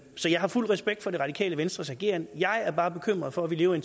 så jeg har fuld respekt for det radikale venstres ageren jeg er bare bekymret for at vi lever i